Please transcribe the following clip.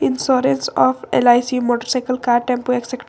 insurance of LIC motorcycle car tempo exe--